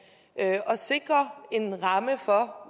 og sikrer en ramme for